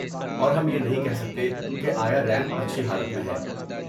اور ہم یہ نہیں کہہ سکتے کہ آیا ریمپ اچھی حالت میں ہے۔